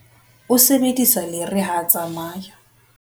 O sebedisa lere ha a tsamaya.